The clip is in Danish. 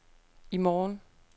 i morgen